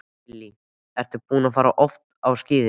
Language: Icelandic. Lillý: Ertu búinn að fara oft á skíði?